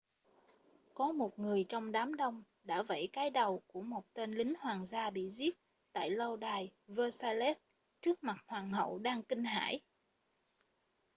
có một người trong đám đông đã vẫy cái đầu của một tên lính hoàng gia bị giết tại lâu đài versailles trước mặt hoàng hậu đang kinh hãi